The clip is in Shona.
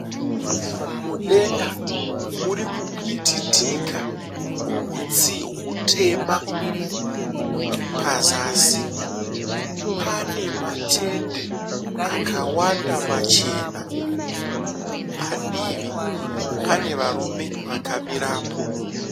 Mudenga muri kupwititika hutsi hutema. Pazasi pane matende akawanda machena. Padivi pane varume vakawanda vakamirapo.